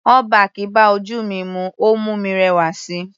All back bá ojú mi mu, ó mú mi rẹwà síi.